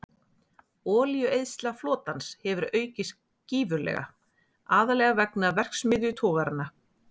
Olíueyðsla flotans hefur aukist gífurlega, aðallega vegna verksmiðjutogaranna.